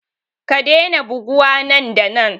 Ka daina buguwa nan da nan!